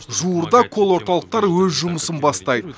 жуырда колл орталықтар өз жұмысын бастайды